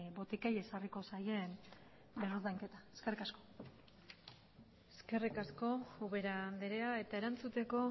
botikei ezarriko zaien berrordainketa eskerrik asko eskerrik asko ubera andrea eta erantzuteko